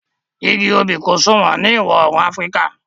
igi obì kò sọ̀wọ́n ní ìwọ̀-oòrùn áfríkà